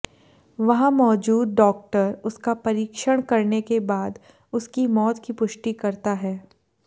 वहां मौजूद डाॅक्टर उसका परीक्षण करने के बाद उसकी मौत की पुष्टि करता है